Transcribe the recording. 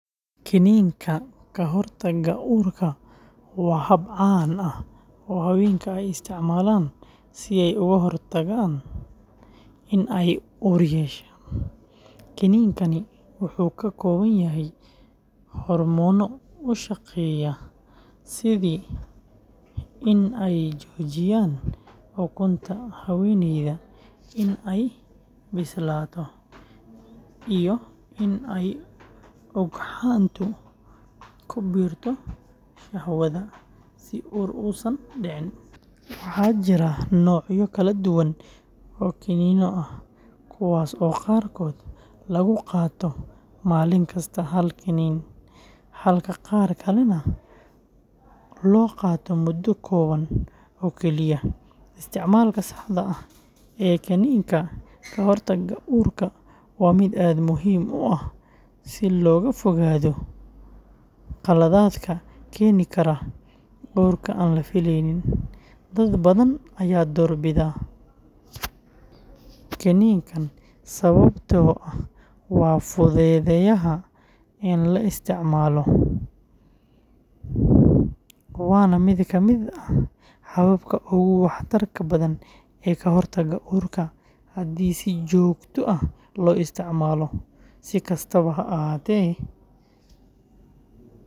Kiniinka ka hortagga uurka waa hab caan ah oo haweenka ay isticmaalaan si ay uga hortagaan in ay uur yeeshaan. Kiniinkani waxa uu ka kooban yahay hormoono u shaqeeya sidii in ay joojiyaan ukunta haweeneyda in ay bislaato iyo in ay ugxantu ku biirto shahwada si uur uusan u dhicin. Waxaa jira noocyo kala duwan oo kiniinno ah, kuwaas oo qaarkood lagu qaato maalin kasta hal kiniin, halka qaar kalena loo qaato muddo kooban oo keliya. Isticmaalka saxda ah ee kiniinka ka hortagga uurka waa mid aad muhiim u ah si looga fogaado khaladaadka keeni kara uur aan la fileyn. Dad badan ayaa doorbida kiniinkan sababtoo ah waa fududahay in la isticmaalo, waana mid ka mid ah hababka ugu waxtarka badan ee ka hortagga uurka haddii si joogto ah loo isticmaalo. Si kastaba ha ahaatee.